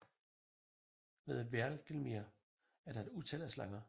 Ved Hvergelmir er der et utal af slanger